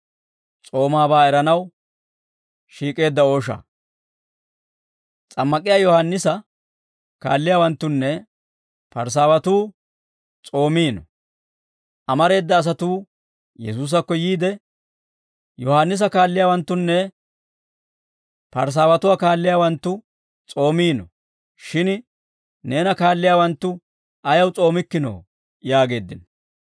S'ammak'k'iyaa Yohaannisa kaalliyaawanttunne Parisaawatuu s'oomiino; amareeda asatuu Yesuusakko yiide, «Yohaannisa kaalliyaawanttunne Parisaawatuwaa kaalliyaawanttu s'oomiino; shin neena kaalliyaawanttu ayaw s'oomikkinoo?» yaageeddino.